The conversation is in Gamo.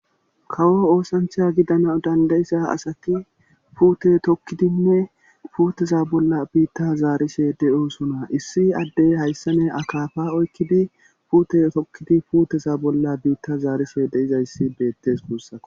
kawo oosancha gidana dandayiza asati puute tokkidinne puuteza bolla biitta zaarishe de'osona issi addey hayssane akafa oykkidi puute tokkidi puuteza bolla biitta zaarise de'izayssi beettes guussaa